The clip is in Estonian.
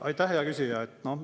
Aitäh, hea küsija!